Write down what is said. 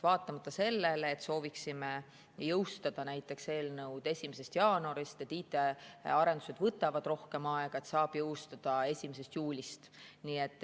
Vaatamata sellele, et sooviksime eelnõu jõustada näiteks 1. jaanuarist, võtavad IT‑arendused rohkem aega, nii et saab jõustada 1. juulist.